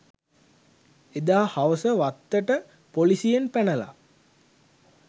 එදා හවස වත්තට පොලිසියෙන් පැනලා